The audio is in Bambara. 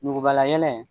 Nugubalayɛlɛ ye